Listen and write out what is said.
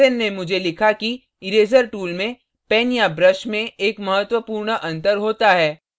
hansen ने मुझे लिखा कि इरेज़र tool में pen या brush में एक महत्वपूर्ण अंतर होता है